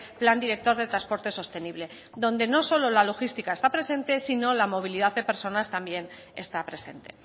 plan director de transporte sostenible donde no solo la logística está presente sino la movilidad de personas está presente